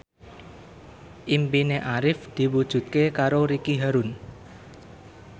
impine Arif diwujudke karo Ricky Harun